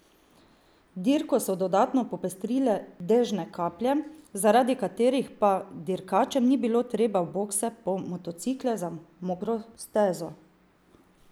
Dirko so dodatno popestrile dežne kaplje, zaradi katerih pa dirkačem ni bilo treba v bokse po motocikle za mokro stezo.